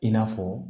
I n'a fɔ